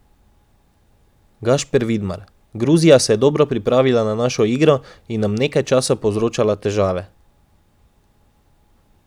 Gašper Vidmar: "Gruzija se je dobro pripravila na našo igro in nam nekaj časa povzročala težave.